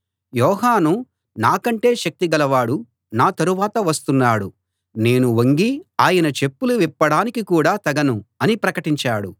యోహాను నాకంటే శక్తి గలవాడు నా తరువాత వస్తున్నాడు నేను వంగి ఆయన చెప్పులు విప్పడానికి కూడా తగను అని ప్రకటించాడు